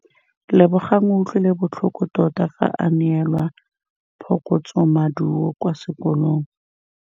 Lebogang o utlwile botlhoko tota fa a neelwa phokotsômaduô kwa sekolong.